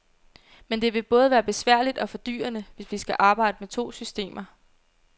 Men det vil både være besværligt og fordyrende, hvis vi skal arbejde med to systemer.